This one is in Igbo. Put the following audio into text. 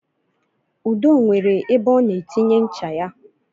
Udo nwere ebe ọ na-etinye ncha ya